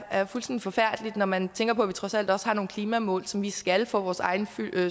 er fuldstændig forfærdeligt når man tænker på at vi trods alt også har nogle klimamål som vi skal opfylde for vores egen